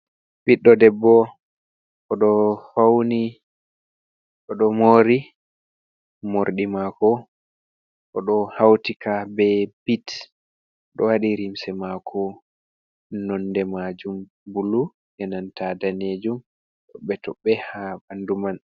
Ɓiɗdo debbo oɗo fawni mori morɗi mako oɗo hautika be bit oɗo wadi limse mako nonde majum bulu yananta danejum toɓɓe toɓɓe ha ɓandu man.